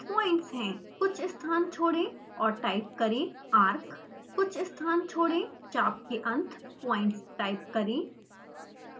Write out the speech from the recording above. कुछ स्थान छोड़ें और टाइप करें arc कुछ स्थान छोड़ें चाप के अंत पॉइंट्स टाइप करें